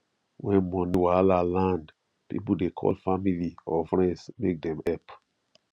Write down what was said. when money wahala land people dey call family or friends make them help